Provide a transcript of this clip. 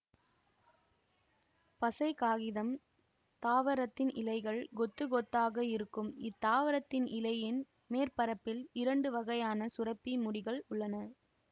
பசைக் காகிதம் தாவரத்தின் இலைகள் கொத்து கொத்தாக இருக்கும் இத்தாவரத்தின் இலையின் மேற்பரப்பில் இரண்டு வகையான சுரப்பி முடிகள் உள்ளன